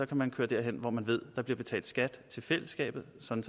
kan man køre derhen hvor man ved der bliver betalt skat til fællesskabet sådan